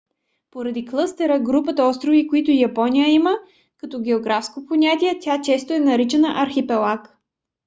поради клъстера/групата острови които япония има като географско понятие тя често е наричана архипелаг